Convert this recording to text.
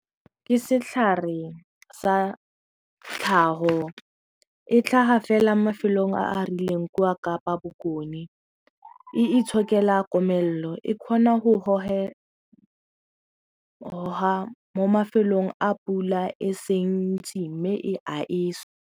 Ke setlhare sa tlhago e tlhaga fela mafelong a a rileng kwa Kapa Bokone e itshokela komello e kgona mo mafelong a pula e seng ntsi mme e aesa.